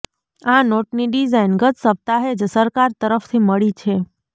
આ નોટની ડિઝાઇન ગત સપ્તાહે જ સરકાર તરફથી મળી છે